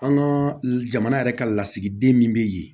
An ka jamana yɛrɛ ka lasigiden min bɛ yen